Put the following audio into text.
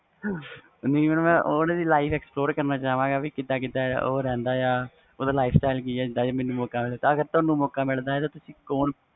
ਨਹੀਂ madam ਉਹ life explore ਕਰਨਾ ਚਾਵਗਾ ਉਹ ਕੀਦਾ ਕੀਦਾ ਹੋ ਰਹਿੰਦਾ ਵ ਓਹਦਾ lifestyle ਕਿ ਆ ਤੁਹਾਨੂੰ ਮੌਕਾ ਮਿਲਦਾ ਤਾ ਕੌਣ